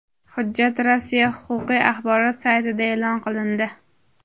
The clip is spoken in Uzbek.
Hujjat Rossiya huquqiy axborot saytida e’lon qilindi.